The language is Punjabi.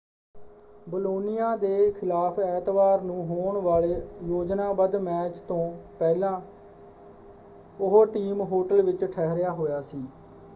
ਬੋਲੋਨੀਆ ਦੇ ਖਿਲਾਫ਼ ਐਤਵਾਰ ਨੂੰ ਹੋਣ ਵਾਲੇ ਯੋਜਨਾਬੱਧ ਮੈਚ ਤੋਂ ਪਹਿਲਾਂ ਉਹ ਟੀਮ ਹੋਟਲ ਵਿੱਚ ਠਹਿਰਿਆ ਹੋਇਆ ਸੀ।